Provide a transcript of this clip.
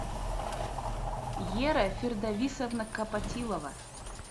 ера фирдависовна копотилова